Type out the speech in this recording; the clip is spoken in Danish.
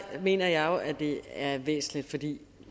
mener jeg jo at det er væsentligt fordi